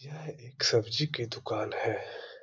यह एक सब्जी की दुकान है .]